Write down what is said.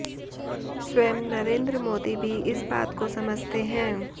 स्वयं नरेंद्र मोदी भी इस बात को समझते हैं